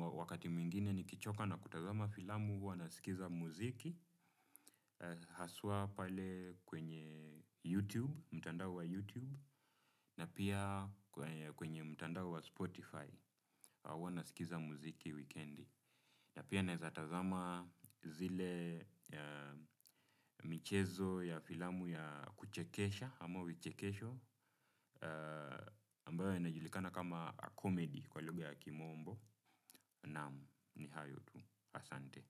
wakati mwingine ni kichoka na kutazama filamu huwa na sikiza muziki haswa pale kwenye YouTube, mtandao wa YouTube na pia kwenye mtandao wa Spotify huwa na sikiza muziki weekendi. Na pia naeza tazama zile michezo ya filamu ya kuchekesha ama vichekesho ambayo inajulikana kama komedi kwa lugha ya kimombo. Naam ni hayo tu. Asante.